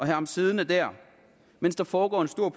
ham siddende der mens der foregår en stor